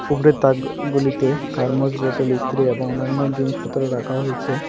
উপরের তাক-ক গুলিতে থার্মাস বোতল ইস্ত্রি এবং অন্যান্য জিনিসপত্র রাখা হয়েছে।